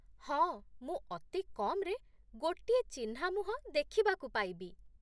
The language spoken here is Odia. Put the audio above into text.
ହଁ, ମୁଁ ଅତି କମ୍‌ରେ ଗୋଟିଏ ଚିହ୍ନା ମୁହଁ ଦେଖିବାକୁ ପାଇବି ।